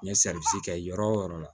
N ye kɛ yɔrɔ o yɔrɔ